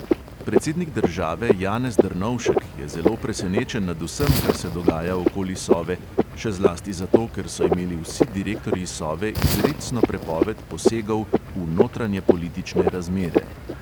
Predsednik države janez drnovšek je zelo presenečen nad vsem, kar se dogaja okoli sove, še zlasti zato, ker so imeli vsi direktorji sove izrecno prepoved posegov v notranjepolitične razmere.